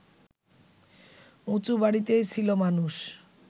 উঁচু বাড়িতেই ছিল মানুষ